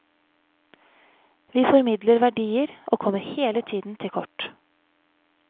Vi formidler verdier og kommer hele tiden til kort.